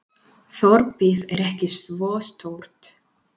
Þorpið er ekki svo stórt.